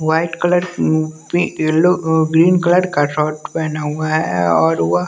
white colour का पी अ येलो ग्रीन कलर का शर्ट पहना हुआ है और वह--